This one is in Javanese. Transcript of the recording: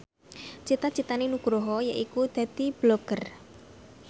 cita citane Nugroho yaiku dadi Blogger